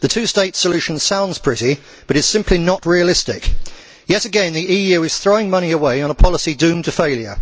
The two state solution sounds pretty, but it is simply not realistic. Yet again, the EU is throwing money away on a policy doomed to failure.